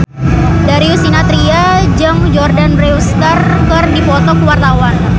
Darius Sinathrya jeung Jordana Brewster keur dipoto ku wartawan